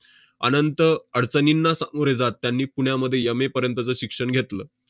अनंत अडचणींना सामोरे जात त्यांनी पुण्यामध्ये M. A. पर्यंतचं शिक्षण घेतलं.